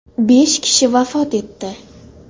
Besh kishi vafot etdi.